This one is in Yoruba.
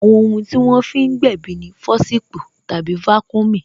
Àwọn ohun tí wọ́n fi ń gbèbí ni fọsipu tàbí vaccumy